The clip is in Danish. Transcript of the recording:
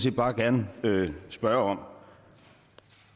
set bare gerne spørge om